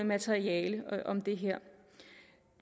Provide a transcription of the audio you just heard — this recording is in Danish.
materiale om det her